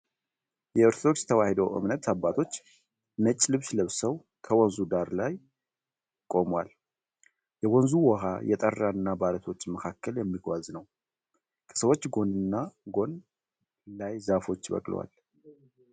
የኦርቶዶክስ ተዋህዶ የእምነት አባቶች ነጭ ልብስ ለብሰዉ ከወንዙ ዳረሰ አለት ላይ ቆመዋል። የወንዙ ዉኃ የጠራ እና በአለቶች መካከል የሚጓዝ ነዉ። ከሰዎቹ ጎን እና ጎን ላይ ዛፎች በቅለዋል።